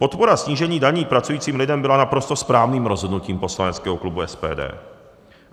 Podpora snížení daní pracujícím lidem byla naprosto správným rozhodnutím poslaneckého klubu SPD.